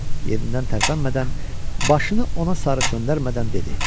Yerindən tərpənmədən, başını ona sarı çönəndirmədən dedi: